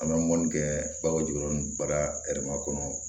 An bɛ mɔni kɛ balo jukɔrɔ nu bara kɔnɔ